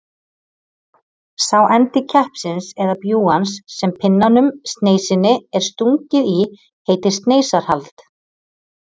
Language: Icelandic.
Sá endi keppsins eða bjúgans sem pinnanum, sneisinni, er stungið í heitir sneisarhald.